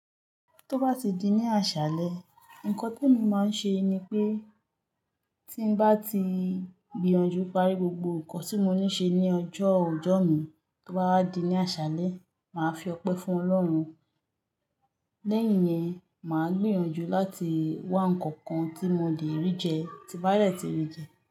Tó bá ti di ní àṣálẹ, ǹkan temi máa ń ṣe ni pé tí bá ti gbìyànjú parí gbogbo ǹkan tí mo ní ṣe ní ọjọ́ ọjọ́ mi, tó bá di ní àṣálẹ, màá fi ọpẹ́ fún Ọlọ́run. Lẹ́yìn yẹn, màá gbìyànjú láti wá ǹkan kan tí mo lè rí jẹ tí bá lè ti rí jẹ.